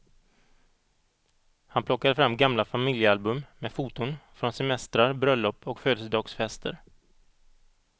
Han plockade fram gamla familjealbum med foton från semestrar, bröllop och födelsedagsfester.